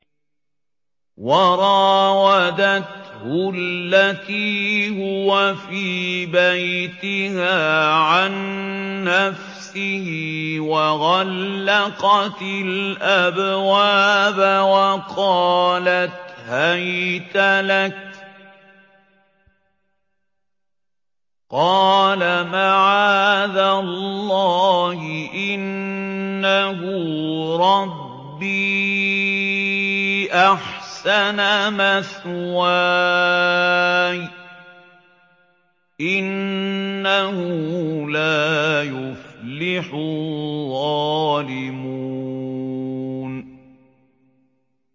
وَرَاوَدَتْهُ الَّتِي هُوَ فِي بَيْتِهَا عَن نَّفْسِهِ وَغَلَّقَتِ الْأَبْوَابَ وَقَالَتْ هَيْتَ لَكَ ۚ قَالَ مَعَاذَ اللَّهِ ۖ إِنَّهُ رَبِّي أَحْسَنَ مَثْوَايَ ۖ إِنَّهُ لَا يُفْلِحُ الظَّالِمُونَ